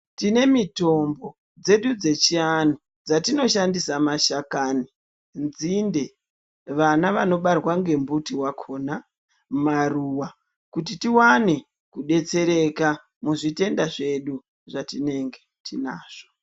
Tine mitombo dzedu dzechi andu dzatino shandisa ma shakani , nzinde vana vano barwa nge mbuti wakona maruva kuti tiwane ku betsereka muzvi tenda zvedu zvatinenge tinazvo.